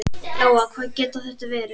Lóa: Hvað getur þetta verið?